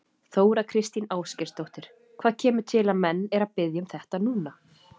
Þóra Kristín Ásgeirsdóttir: Hvað kemur til að menn eru að biðja um þetta núna?